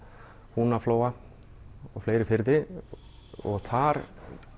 Húnaflóa og fleiri firði og þar